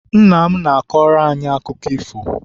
Nna m na-akọrọ anyị akụkọ ifo.